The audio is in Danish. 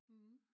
Mh